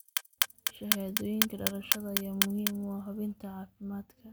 Shahaadooyinka dhalashada ayaa muhiim u ah hubinta caafimaadka.